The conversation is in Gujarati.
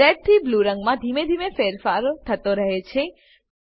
રેડ થી બ્લૂ રંગમાં ધીમે ધીમે ફેરફાર થતો રહે છે